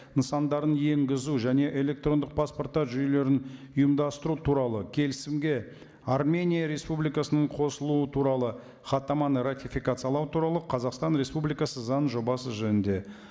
нысандарын енгізу және электрондық паспорттар жүйелерін ұйымдастыру туралы келісімге армения республикасының қосылуы туралы хаттаманы ратификациялау туралы қазақстан республикасы заңының жобасы жөнінде